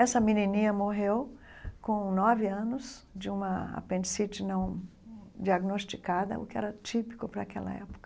Essa menininha morreu com nove anos de uma apendicite não diagnosticada, o que era típico para aquela época.